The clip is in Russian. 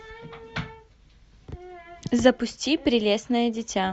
запусти прелестное дитя